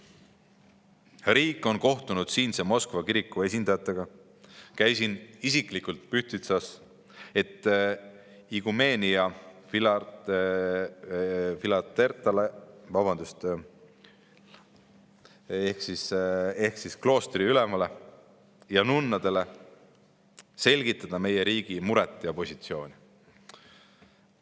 Riik on kohtunud siinse Moskva kiriku esindajatega, käisin isiklikult Pühtitsas, et iguumenja Filaretale ehk kloostriülemale ja nunnadele selgitada meie riigi muret ja positsiooni.